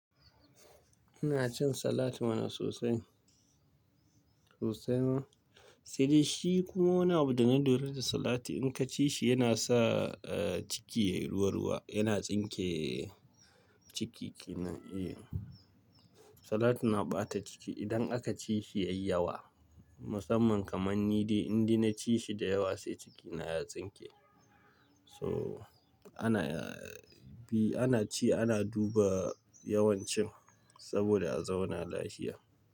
Ina cin salatin mana sosai sosai ma. Sai dai shi kuma wani abu da na lura da salati. In ka ci shi yana sa, eh, ciki yayi ruwa ruwa, yana tsinke ciki kenan. Eh, salat na ɓata ciki idan aka ci shi yayi yawa. Musamman kamar ni dai, in dai na ci shi da yawa sai cikina ya tsinke. So ana, bi ana ci, ana duba yawan cin saboda a zauna lafiya.